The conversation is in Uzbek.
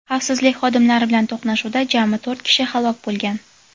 Xavfsizlik xodimlari bilan to‘qnashuvda jami to‘rt kishi halok bo‘lgan.